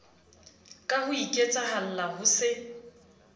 ka ho iketsahalla ho se